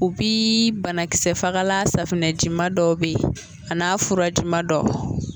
O bii banakisɛfagala safinɛjima dɔw be yen a n'a furajima dɔw